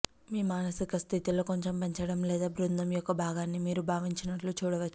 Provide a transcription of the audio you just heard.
మీ మానసిక స్థితిలో కొంచెం పెంచడం లేదా బృందం యొక్క భాగాన్ని మీరు భావించినట్లు చూడవచ్చు